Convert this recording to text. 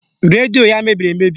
Redio ya mebiri emebi